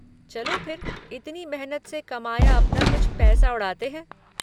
चलो फिर, इतनी मेहनत से कमाया अपना कुछ पैसा उड़ाते है।